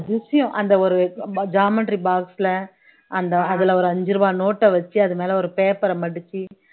அதிசியம் அந்த ஒரு geometry box ல அந்த அதுல ஒரு அஞ்சு ரூபாய் note அ வச்சு அது மேல ஒரு paper அ மடிச்சு